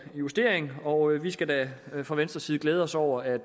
justering og vi skal da fra venstres side glæde os over at